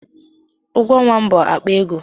Ụgwọ ọnwa m bụ akpa ego.